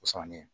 O sɔnni